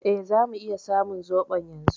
E, zamu iya samun zoɓon yanzu.